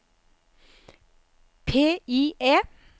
PIE